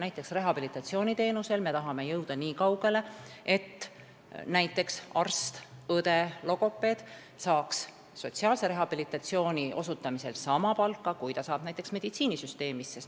Näiteks rehabilitatsiooniteenuse puhul me tahame jõuda nii kaugele, et arst, õde ja logopeed saaks sotsiaalse rehabilitatsiooni teenuse osutamisel sama palka, kui nad saavad meditsiinisüsteemis.